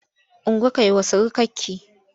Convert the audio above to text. Ungo kai wa surukarki!